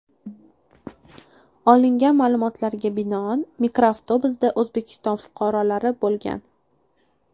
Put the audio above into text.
Olingan ma’lumotlarga binoan, mikroavtobusda O‘zbekiston fuqarolari bo‘lgan.